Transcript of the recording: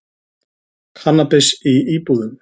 Kannabis í íbúðum